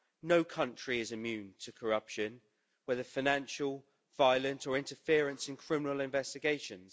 No country is immune to corruption, whether financial, violent or interference in criminal investigations.